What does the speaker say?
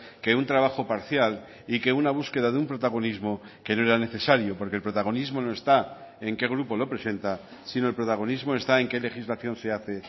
que un trabajo parcial y que una búsqueda de un protagonismo que no era necesario porque el protagonismo no está en qué grupo lo presenta sino el protagonismo está en qué legislación se hace